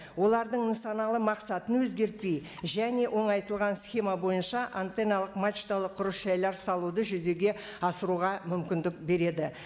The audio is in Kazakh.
олардың нысаналы мақсатын өзгертпей және оңайтылған схема байынша антенналық мачталық құрылыс жайлар салуды жүзеге асыруға мүмкіндік береді